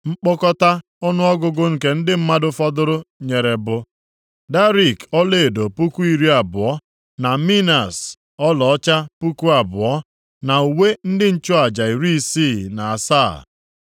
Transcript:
Nkpọkọta ọnụọgụgụ nke ndị mmadụ fọdụrụ nyere bụ, darik ọlaedo puku iri abụọ (20,000), na minas ọlaọcha puku abụọ (2,000), na uwe ndị nchụaja iri isii na asaa (67).